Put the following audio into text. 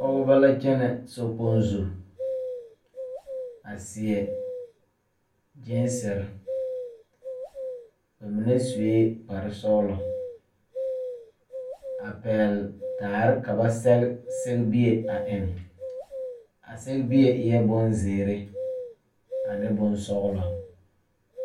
Pɔgebɔ la kyɛnɛ sokpoŋ zu a seɛ gyeesire ba mine suee kparesɔglɔ a pɛɛle daare ka ba sɛge sɛgbie a eŋ a sɛgebie eɛɛ bonzeere ane bonsɔglɔ.